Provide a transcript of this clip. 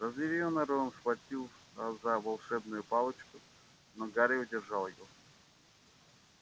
разъярённый рон схватился за волшебную палочку но гарри удержал его